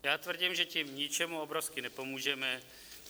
Já tvrdím, že tím ničemu obrovsky nepomůžeme.